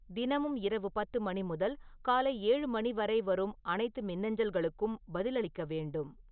தினமும் இரவு பத்து மணி முதல் காலை ஏழு மணி வரை வரும் அனைத்து மின்னஞ்சல்களுக்கும் பதிலளிக்க வேண்டும்